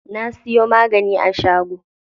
Na siyo magani a shago.